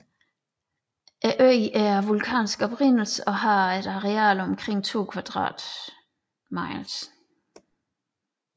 Øen er af vulkansk oprindelse og har et areal på omkring 2 kvadrat miles